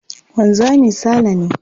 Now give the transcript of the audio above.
Wanzami Sale ne.